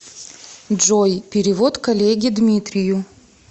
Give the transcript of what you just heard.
джой перевод коллеге дмитрию